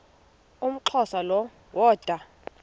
umxhosa lo woda